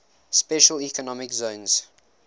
special economic zones